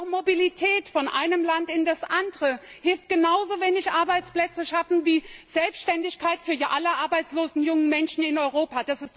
Und auch Mobilität von einem Land in das andere hilft genauso wenig, Arbeitsplätze zu schaffen, wie Selbständigkeit für alle arbeitslosen jungen Menschen in Europa.